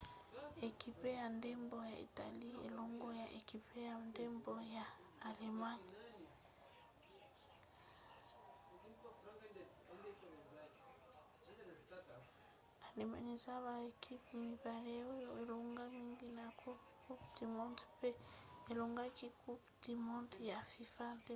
ekipe ya ndembo ya italie elongo na ekipe ya ndembo ya allemagne eza baekipe mibale oyo elonga mingi na coupe du monde mpe elongaki coupe du monde ya fifa na 2006